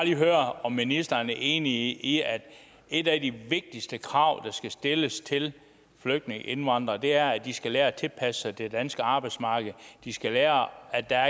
lige høre om ministeren er enig i at et af de vigtigste krav der skal stilles til flygtninge og indvandrere er at de skal lære at tilpasse sig det danske arbejdsmarked de skal lære at der